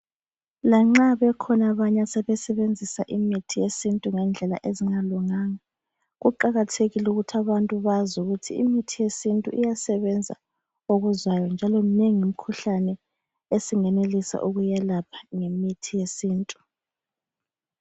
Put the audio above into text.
Lanxa bekhona abanye asebesebenzisa imithi yesintu ngendlela ezingalunganga kuqakathekile ukuthi abantu bazi ukuthi imithi yesintu iyasebenza okuzwayo njalo minengi imikhuhlane esingenelisa ukuyelapha ngemithi yesintu.